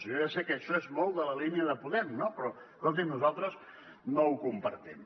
jo ja sé que això és molt de la línia de podem no però escoltin nosaltres no ho compartim